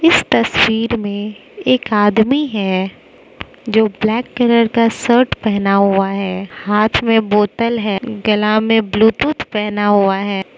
इस तस्वीर में एक आदमी है जो ब्लैक कलर का शर्ट पहना हुआ है हाथ में बोतल है गला में ब्लूटूथ पहना हुआ है।